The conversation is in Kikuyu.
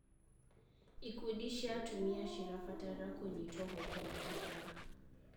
Ikundi cia atumia cirabatara kũnyitwo guoko makĩria.